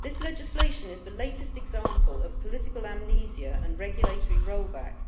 This legislation is the latest example of political amnesia and regulatory rollback